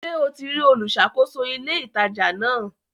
Ṣe o ti rí olùṣàkóso ilé ìtajà ńlá?